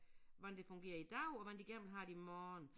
Hvordan det fungerer i dag og hvordan det igen har det i morgen